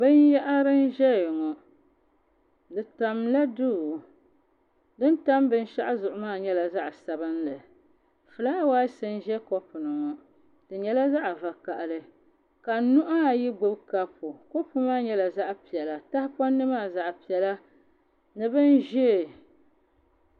Binyahari n ʒɛya ŋo di tamla duu din tam binshaɣu zuɣu maa nyɛla zaɣ sabinli fulaawaasi n ʒɛ kopu ni ŋo di nyɛla zaɣ vakaɣili ka nuhi ayi gbubi kapu kapu maa nyɛla zaɣ piɛla tahapondi maa zaɣ piɛla ni bini ʒiɛ